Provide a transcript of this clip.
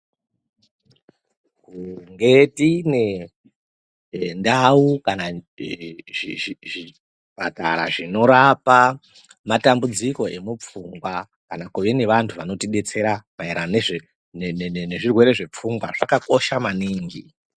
Ngedzimwe ndau kana zvipatara zvinorapa matambudziko emupfungwa kana kuve nevantu vanotidetsera maererano nezvirwere zvepfungwa, zvakakosha maningi.